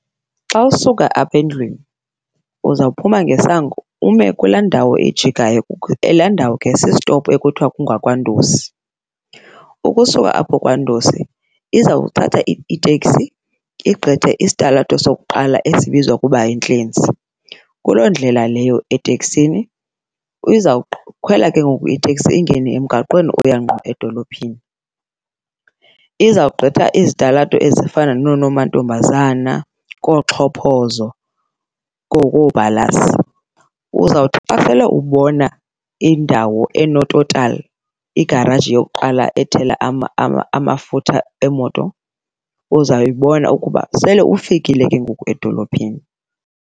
Xa usuka apha endlwini uzawuphuma ngesango ume kulaa ndawo ijikayo , laa ndawo ke sisitopu ekuthiwa kungakwaNdosi. Ukusuka apho kwaNdosi izawuthatha iteksi igqithe isitalato sokuqala esibizwa ukuba yiNtlenzi, kuloo ndlela leyo eteksini izawukhwela ke ngoku iteksi ingene emgaqweni oya ngqo edolophini. Izawugqitha izitalato ezifana nooNomantombazana kooXhophozo , uzawuthi xa sele ubona indawo enoTotal, igaraji yokuqala ethela amafutha emoto uzayibona ukuba sele ufikile ke ngoku edolophini.